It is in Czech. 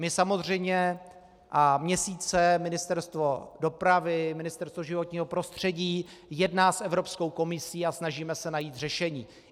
My samozřejmě - a měsíce Ministerstvo dopravy, Ministerstvo životního prostředí jedná s Evropskou komisí a snažíme se najít řešení.